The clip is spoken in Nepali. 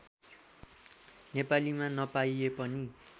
नेपालीमा नपाइए पनि